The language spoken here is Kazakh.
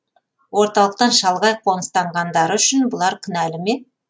орталықтан шалғай қоныстанғандары үшін бұлар кінәлі ме